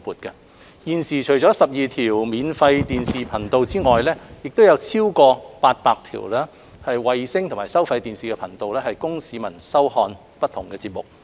現時，除了12條免費電視頻道外，亦有超過800條衞星及收費電視頻道供市民收看不同節目。